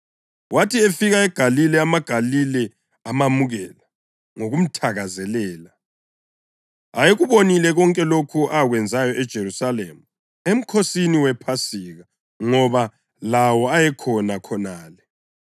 Wathi efika eGalile, amaGalile amamukela ngokumthakazelela. Ayekubonile konke lokho akwenzayo eJerusalema, eMkhosini wePhasika, ngoba lawo ayekhona khonale.